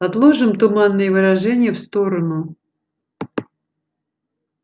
отложим туманные выражения в сторону